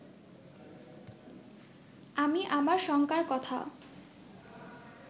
আমি আমার শঙ্কার কথা